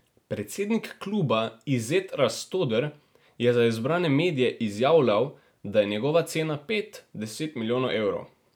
Predsednik kluba Izet Rastoder je za izbrane medije izjavljal, da je njegova cena pet, deset milijonov evrov.